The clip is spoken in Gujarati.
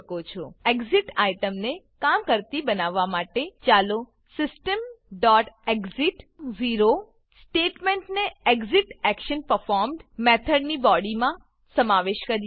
એક્સિટ એક્ઝીટ આઇટમને કામ કરતી બનાવવા માટે ચાલો systemએક્સિટ સ્ટેટમેંટને ExitActionPerformed મેથડની બોડીમાં સમાવેશ કરીએ